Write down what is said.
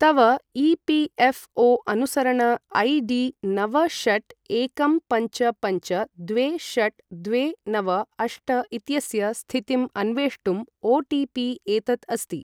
तव ई.पी.एफ़्.ओ.अनुसरण A D नव षट् एकं पञ्च पञ्च द्वे षट् द्वे नव अष्ट इत्यस्य स्थितिम् अन्वेष्टुम् ओटिपि एतत् अस्ति।